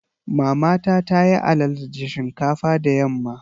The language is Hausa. Mamata ta yi alala da shinkafa da yamma.